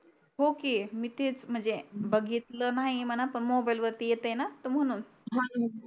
हो कि मी तेच म्हणजे बघितलं नाही मना पण मोबाईल मोबाईल वरती येते ना तर म्हणून